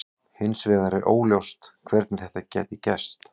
Hins vegar var óljóst hvernig þetta gæti gerst.